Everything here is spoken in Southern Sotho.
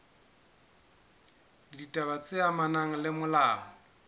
ditaba tse amanang le molao